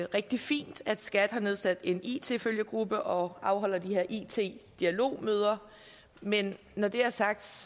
rigtig fint at skat har nedsat en it følgegruppe og afholder de her it dialogmøder men når det er sagt